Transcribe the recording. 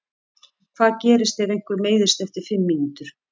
Hvað gerist ef einhver meiðist eftir fimm mínútur?